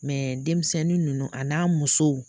denmisɛnnin ninnu a n'a musow